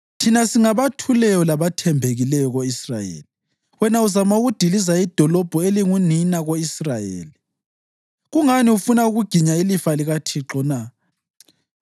Thina singabathuleyo labathembekileyo ko-Israyeli. Wena uzama ukudiliza idolobho elingunina ko-Israyeli. Kungani ufuna ukuginya ilifa likaThixo na?”